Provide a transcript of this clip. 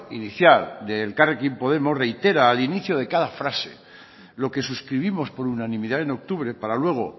inicial de elkarrekin podemos reitera al inicio de cada frase lo que suscribimos por unanimidad en octubre para luego